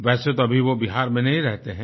वैसे तो अभी वो बिहार में नहीं रहते हैं